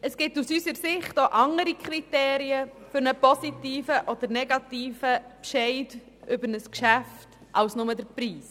Es gibt aus unserer Sicht auch andere Kriterien für einen positiven oder negativen Entscheid über ein Geschäft als nur dessen Preis.